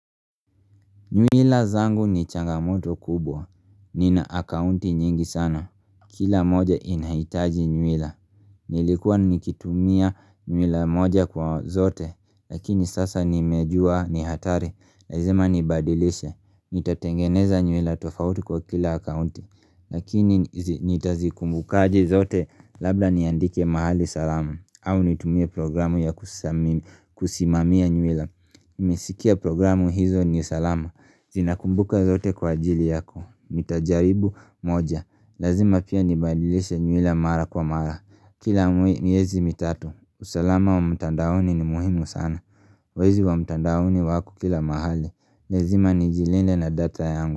Nyuila zangu ni changamoto kubwa. Nina akaunti nyingi sana. Kila moja inahitaji nyuila. Nilikuwa nikitumia nyuila moja kwa zote. Lakini sasa nimejua ni hatari. Lazima nibadilishe. Nitatengeneza nyuila tofauti kwa kila akaunti. Lakini nitazikumbukaje zote labda niandike mahali salamu. Au nitumie programu ya kusimamia nyuila. Niliskia programu hizo ni salama Zinakumbuka zote kwa ajili yako nitajaribu moja Lazima pia nibadilishe nyuila mara kwa mara Kila miezi mitatu usalama wa mtandaoni ni muhimu sana Wezi wa mtandaoni wako kila mahali Lazima nijilinde na data yangu.